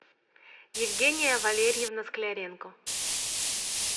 евгения валерьевна скляренко